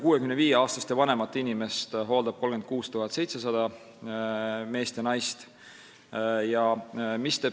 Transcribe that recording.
65-aastaseid ja vanemaid inimesi hooldab 36 700 meest ja naist.